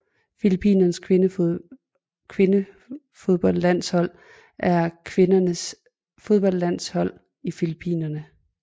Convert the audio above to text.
Filippinernes kvindefodboldlandshold er kvindernes fodboldlandshold i Filippinerne